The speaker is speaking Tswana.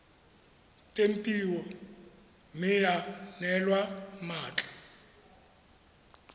tempiwa mme ya neelwa mmatla